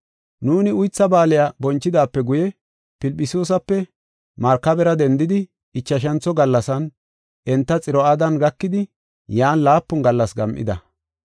Nuuni Uytha Baaliya bonchidaape guye, Filphisiyuusape markabera dendidi, ichashantho gallasan enta Xiro7aadan gakidi yan laapun gallas gam7ida.